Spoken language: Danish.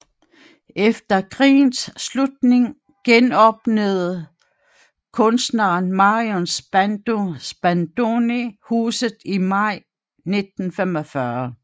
Efter krigens slutning genåbnede kunstneren Marion Spadoni huset i maj 1945